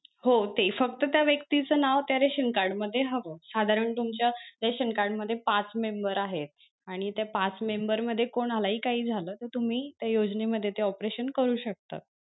हो ते फक्त त्या व्यक्तीच नाव त्या रेशन card मध्ये हवं साधारण तुमच्या रेशन card मध्ये पाच मेंबर आहेत आणि त्या पाच member मध्ये कोणालाही काही झालं तर तुम्ही त्या योजनेमध्ये ते operation करू शकता.